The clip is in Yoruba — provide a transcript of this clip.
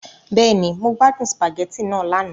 Bẹ́ẹ̀ni, Mo gbadun spaghetti naa lana